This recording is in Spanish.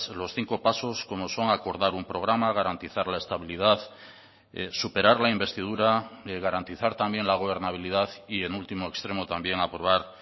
los cinco pasos como son acordar un programa garantizar la estabilidad superar la investidura garantizar también la gobernabilidad y en último extremo también aprobar